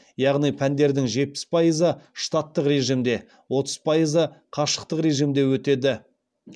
яғни пәндердің жетпіс пайызы штаттық режимде отыз пайызы қашықтық режимде өтеді